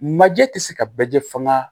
Maje tɛ se ka bɛɛ fɔ n ka